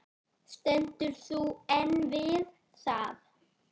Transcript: Stendur þú enn við það?